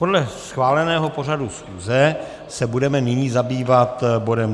Podle schváleného pořadu schůze se budeme nyní zabývat bodem